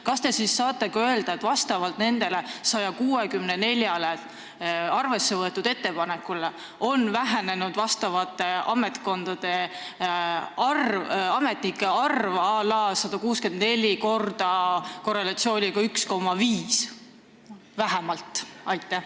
Kas te saate ka öelda, et vastavalt nendele 164-le arvesse võetud ettepanekule on ametnike arv vähenenud à la 164 ×..., korrelatsiooniga 1,5 vähemalt?